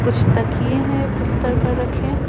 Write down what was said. कुछ तकिए हैं बिस्तर पर रखें।